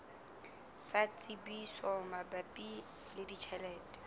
sa tsebiso mabapi le ditjhelete